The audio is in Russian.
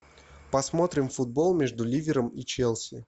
посмотрим футбол между ливером и челси